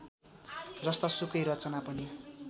जस्तासुकै रचना पनि